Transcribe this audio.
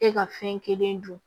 E ka fɛn kelen dun